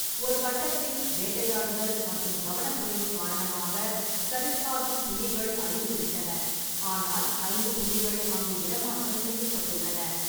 ஒரு கட்டத்தில், வேட்டையாடுதல் மற்றும் கவனக்குறைவு காரணமாக, சரிஸ்காவில் புலிகள் அழிந்துவிட்டன, ஆனால் ஐந்து புலிகள் அங்கு இடமாற்றம் செய்யப்பட்டுள்ளன.